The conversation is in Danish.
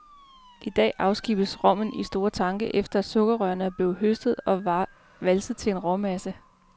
I dag afskibes rommen i store tanke efter at sukkerrørene er blevet høstet og valset til en råmasse.